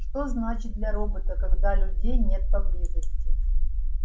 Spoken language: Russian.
что значит для робота когда людей нет поблизости